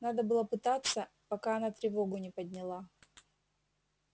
надо было пытаться пока она тревогу не подняла